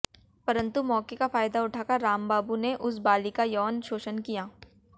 परंतु मौके का फायदा उठाकर रामबाबू ने उस बालिका का यौन शोषण किया